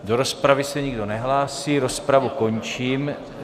Do rozpravy se nikdo nehlásí, rozpravu končím.